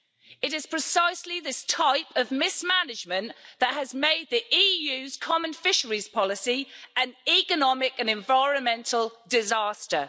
It is precisely this type of mismanagement that has made the EU's common fisheries policy an economic and environmental disaster.